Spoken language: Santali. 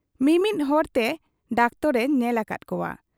ᱢᱤᱢᱤᱫ ᱦᱚᱲᱛᱮ ᱰᱟᱠᱛᱚᱨ ᱮ ᱧᱮᱞ ᱟᱠᱟᱫ ᱠᱚᱣᱟ ᱾